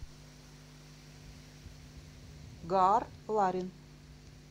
гаар ларин